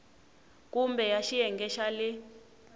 kumbe ya xiyenge xa le